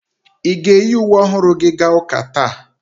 Ị ga-eyi uwe ọhụrụ gị gaa ụka taa?